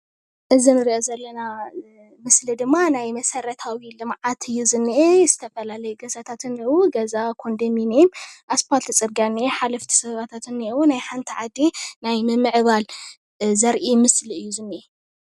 እዚ እንርእዮ ዘለና ምስሊ ድማ ናይ መሰረታዊ ልምዓት እዩ ዝሊአ። ዝተፋላለዩ ገዛታት እኒአዉ ገዛ ኮንዶሚነየም ኣሰፋልት ፅርግያ እኒአ። ሓለፍቲ ሰባት አኒአዉ ።ናየይ ሓንቲ ዓዲ ናይ ምምዕባል ዘርኢ ምስሊ እዩ ዝኒአ፡፡